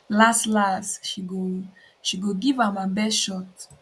laslas she go she go give am her best shot